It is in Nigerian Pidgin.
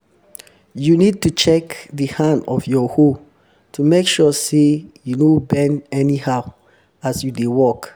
you need to check di hand of your hoe to make sure say you no bend anyhow as you dey work